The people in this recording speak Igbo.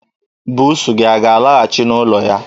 Buusu gị a ga-alaghachị n'ụlọ ya?